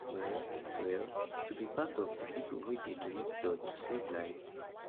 well well to be part of di pipo wey dey dey donate blood to save lives